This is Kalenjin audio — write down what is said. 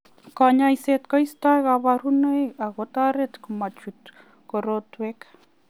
Kanyoiset koisto kabarunoik ak kotoret ma chut korotwek.